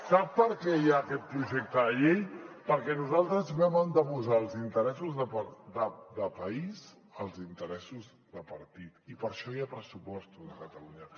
sap per què hi ha aquest projecte de llei perquè nosaltres vam anteposar els interessos de país als interessos de partit i per això hi ha pressupostos a catalunya